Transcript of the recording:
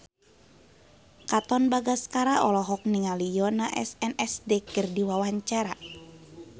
Katon Bagaskara olohok ningali Yoona SNSD keur diwawancara